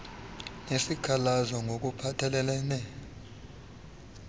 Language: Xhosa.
unesikhalazo ngok uphathelelene